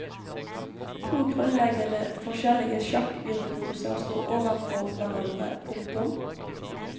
To grunnleggende forskjellige sjakkvirtuoser står overfor hverandre. punktum